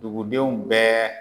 Dugudenw bɛɛ